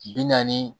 Bi naani